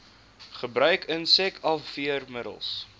gebruik insek afweermiddels